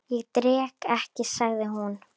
Ég drekk ekki, sagði hún.